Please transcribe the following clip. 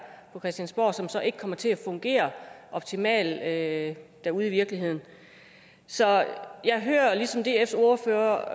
på christiansborg som så ikke kommer til at fungere optimalt derude i virkeligheden så jeg hører ligesom dfs ordfører